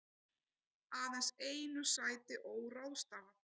Aðeins einu sæti óráðstafað